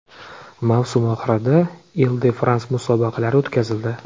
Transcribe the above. Mavsum oxirida Il-de-Frans musobaqalari o‘tkazildi.